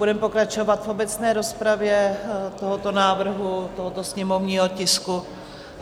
Budeme pokračovat v obecné rozpravě tohoto návrhu, tohoto sněmovního tisku...